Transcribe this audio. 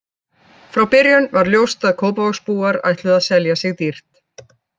Frá byrjun var ljóst að Kópavogsbúar ætluðu að selja sig dýrt.